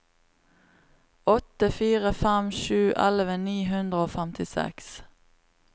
åtte fire fem sju elleve ni hundre og femtiseks